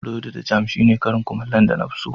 Borodi da jam shine karin kumallo na da na fi so.